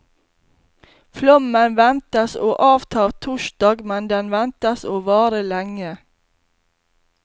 Flommen ventes å avta torsdag, men den ventes å vare lenge.